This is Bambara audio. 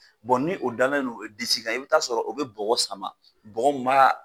ni o dalen don o disi kan i bɛ t'a sɔrɔ o bɛ bɔgɔ sama, bɔgɔ min b'a